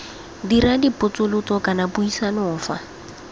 dira dipotsolotso kana puisano fa